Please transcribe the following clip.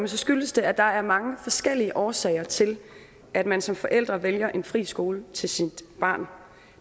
skyldes det at der er mange forskellige årsager til at man som forældre vælger en fri skole til sit barn